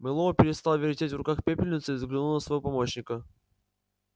мэллоу перестал вертеть в руках пепельницу и взглянул на своего помощника